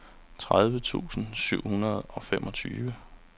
tredive tusind syv hundrede og femogtyve